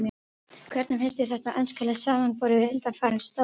Hvernig finnst þér þetta enska lið samanborið við undanfarin stórmót?